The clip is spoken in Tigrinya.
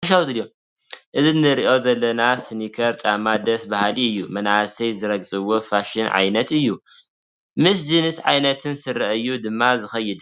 እዚ ንሪኦ ዘለና ስኒከር ጫማ ደስ በሃሊ እዩ፡፡ መናእሰይ ዝረግፅዎ ፋሽን ዓይነት እዩ፡፡ ምስ ጅንስ ዓይነት ስረ እዩ ድማ ዝኸይድ፡፡